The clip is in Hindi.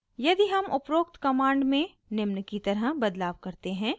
यदि हम उपरोक्त कमांड में निम्न की तरह बदलाव करते हैं: